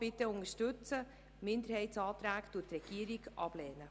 Die Minderheitsanträge lehnt die Regierung ab.